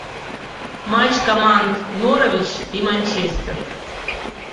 матч команд норвич и манчестер